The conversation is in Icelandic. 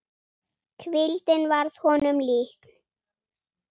Hvíldin varð honum líkn.